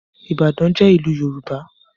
ibadan jé ilú yorùbá